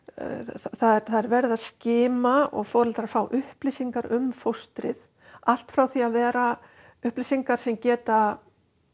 það er verið að skima og foreldrar fá upplýsingar um fóstrið allt frá því að vera upplýsingar sem geta